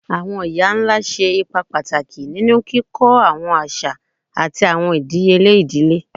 Awọn iya-nla ṣe ipa pataki ninu kikọ awọn aṣa ati awọn idiyele idile